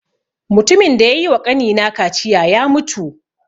Matumin da ya yi wa ƙani na kaciya ya mutu